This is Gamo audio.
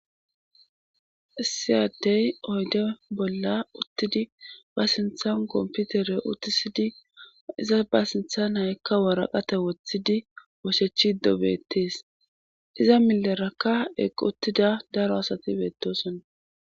issiyaddey oyde bolla uttidi ba sinthan komputere utisidi iza ba sintha naykka waraqate woththidi ooshechi ddo beettees iza milerakka eq uttida daro asati beettosona